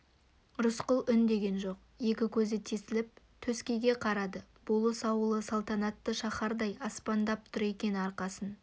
рысқұл үндеген жоқ екі көзі тесіліп төскейге қарады болыс ауылы салтанатты шаһардай аспандап тұр екен арқасын